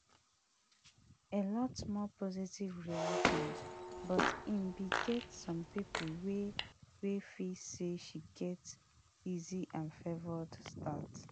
a lot more positive reactions but e bin get some pipo wey wey feel say she get easy and favoured start